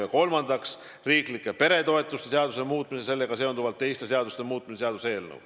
Ja kolmandaks, riiklike peretoetuste seaduse muutmise ja sellega seonduvalt teiste seaduste muutmise seaduse eelnõu.